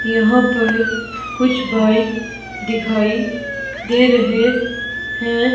यहां पर कुछ बाइक दिखाई दे रहे है।